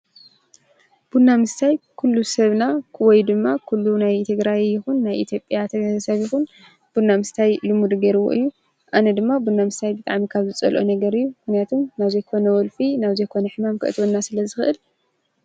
ቡና ምስታይ ኩሉ ሰብና ዉይ ድማ ኩሉ ናይ ትግራይ ይኹን ናይ ኢትዮጰያ ሰብ ይኹን ቡናምስታይ ሉሙድ ገይርዎ እዩ፡፡ ኣነ ድማ ቡና ምስታይ ካብ ዝፀልኦ ነገር እዩ ምክንያቱ ናብ ዘይኮነ ወልፊ ናብ ዘይኮነ ሕማም ክእትዎና ስለ ዝክእል፡፡